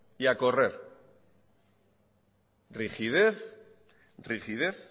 y a correr rigidez rigidez